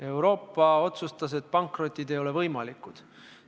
Euroopa otsustas, et pankrotid ei ole võimalikud.